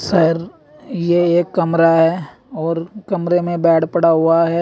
शायर ये एक कमरा है और कमरे में बेड पड़ा हुआ है।